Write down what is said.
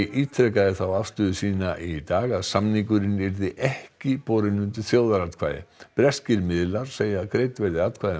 ítrekaði þá afstöðu sína í dag að samningurinn yrði ekki borinn undir þjóðaratkvæði breskir miðlar segja að greidd verði atkvæði um